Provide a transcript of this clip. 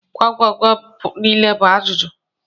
Gwam gwam gwam nile bu ajuju.